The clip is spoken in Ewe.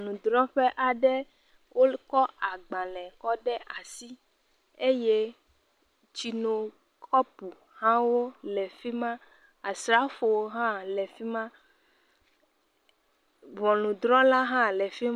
Ŋɔnudrɔ̃ƒe aɖe. Wokɔ agbalẽ kɔ ɖe asi. Eye tsino kɔpu hawo le fi ma. Asrafowo hã le fi ma. Ŋɔnudrɔ̃la hã le fi ma.